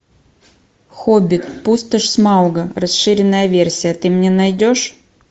хоббит пустошь смауга расширенная версия ты мне найдешь